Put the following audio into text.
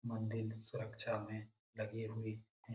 मंदिल सुरक्षा में लगे हुए हैं।